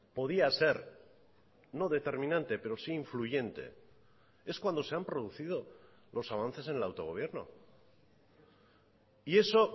podía ser no determinante pero sí influyente es cuando se han producido los avances en el autogobierno y eso